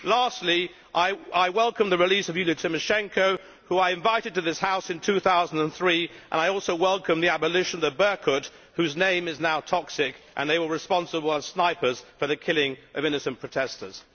Lastly, I welcome the release of Yulia Tymoshenko, whom I invited to this House in 2003, and I also welcome the abolition of the Berkut, whose name is now toxic they were responsible as snipers for the killing of innocent protestors.